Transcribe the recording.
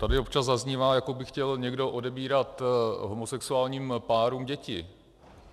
Tady občas zaznívá, jako by chtěl někdo odebírat homosexuálním párům děti.